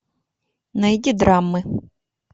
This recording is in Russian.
найди драмы